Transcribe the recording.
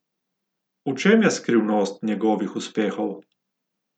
V čem je skrivnost njegovih uspehov?